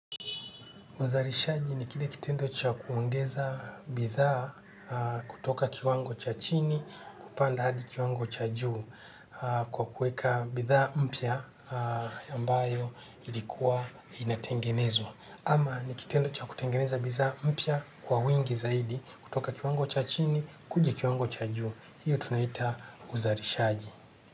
Uzalishaji ni kile kitendo cha kuongeza bidhaa kutoka kiwango cha chini kupanda hadi kiwango cha juu kwa kuweka bidhaa mpya ambayo ilikuwa inatengenezwa. Ama ni kitendo cha kutengeneza bidhaa mpya kwa wingi zaidi, kutoka kiwango cha chini kuja kiwango cha juu. Hiyo tunaita uzalishaji.